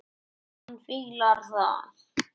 Örn Arason.